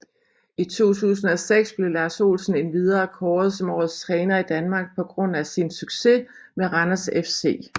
I 2006 blev Lars Olsen endvidere kåret som årets træner i Danmark på grund sin succes med Randers FC